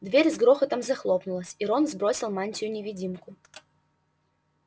дверь с грохотом захлопнулась и рон сбросил мантию-невидимку